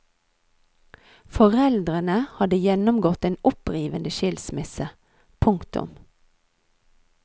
Foreldrene hadde gjennomgått en opprivende skilsmisse. punktum